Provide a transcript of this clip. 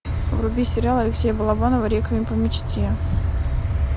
вруби сериал алексея балабанова реквием по мечте